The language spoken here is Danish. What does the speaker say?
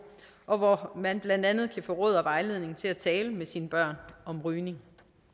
og hvor man blandt andet kan få råd og vejledning til at tale med sine børn om rygning